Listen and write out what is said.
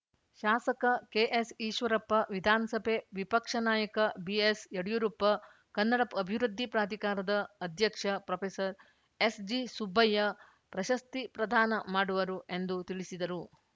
ಶಾಸಕ ಕೆಎಸ್‌ಈಶ್ವರಪ್ಪ ವಿಧಾನಸಭೆ ವಿಪಕ್ಷ ನಾಯಕ ಬಿಎಸ್‌ಯಡಿಯೂರಪ್ಪ ಕನ್ನಡ ಅಭಿವೃಧ್ಧಿ ಪ್ರಾಧಿಕಾರದ ಅಧ್ಯಕ್ಷ ಪೊಎಸ್‌ಜಿಸುಬ್ಬಯ್ಯ ಪ್ರಶಸ್ತಿ ಪ್ರದಾನ ಮಾಡುವರು ಎಂದು ತಿಳಿಸಿದರು